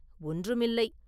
ஒன்றுமில்லை.